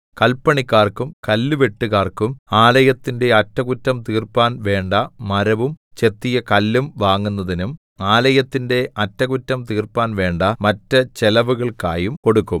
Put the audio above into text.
കല്പണിക്കാർക്കും കല്ലുവെട്ടുകാർക്കും ആലയത്തിന്റെ അറ്റകുറ്റം തീർപ്പാൻ വേണ്ട മരവും ചെത്തിയ കല്ലും വാങ്ങുന്നതിനും ആലയത്തിന്റെ അറ്റകുറ്റം തീർപ്പാൻ വേണ്ട മറ്റ് ചെലവുകൾക്കായും കൊടുക്കും